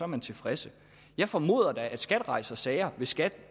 man tilfreds jeg formoder da at skat rejser sager hvis skat